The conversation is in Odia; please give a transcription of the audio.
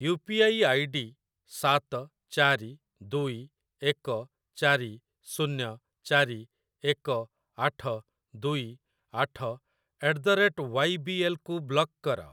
You P I I D ସାତ ଚାରି ଦୁଇ ଏକ ଚାରି ଶୂନ୍ୟ ଚାରି ଏକ ଆଠ ଦୁଇ ଆଠ at the rate Y B L କୁ ବ୍ଲକ୍ କର।